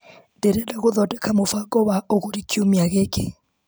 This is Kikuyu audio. Ndĩreda gũthodeka mũbango wa ũgũri kiumia gĩkĩ.